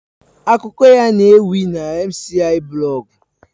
Akuko ya n'ewi na mciiblog